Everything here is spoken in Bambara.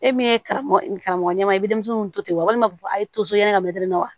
E min ye karamɔgɔ karamɔgɔ ɲɛmaa ye denmisɛnninw to ten walima a ye to so ye ka mɛtɛrɛ na wa